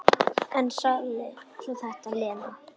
En sagði svo þetta, Lena.